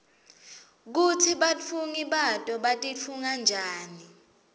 kutsi batfungi bato batitfunga njani